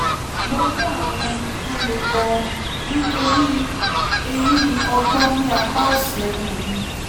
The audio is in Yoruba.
mo ní ààrùn ẹnu tó le gan-an nítorí eyín ọgbọ́n ní apá òsì ẹnu mi